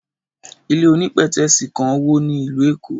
Ilé onípètẹ́sì kan wó ní ìlú Èkó.